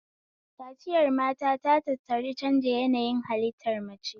Kaciyar mata ta tattari canja yanayi halittar mace